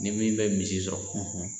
Ni min bɛ misi sɔrɔ